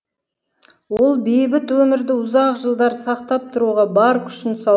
ол бейбіт өмірді ұзақ жылдар сақтап тұруға бар күшін салған